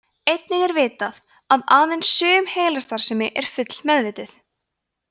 einnig er vitað að aðeins sum heilastarfsemi er að fullu meðvituð